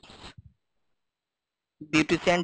Beautician Tips,